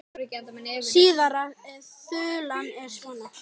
Síðari þulan er svona